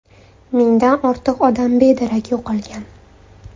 Mingdan ortiq odam bedarak yo‘qolgan.